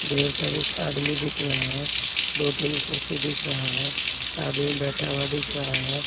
ढेर सारीज़ आदमी दिख रहा हैं दो-तीन कुर्सी दिख रहा हैं आदमी बैठा हुआ दिख रहा हैं।